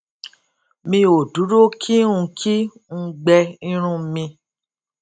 mi ò dúró kí n kí n gbẹ irun mi